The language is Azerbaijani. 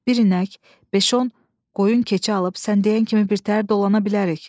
Bir inək, beş-on qoyun-keçi alıb sən deyən kimi birtəhər dolana bilərik.